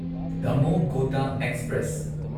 Damoh Kota express